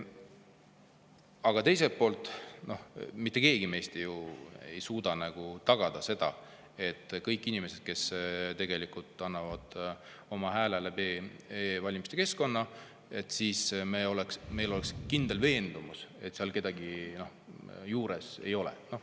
Aga praegu mitte keegi meist ei suuda tagada kindlat veendumust, et kõik inimesed, kes annavad oma hääle läbi e-valimiste keskkonna,, et seal kedagi juures ei ole.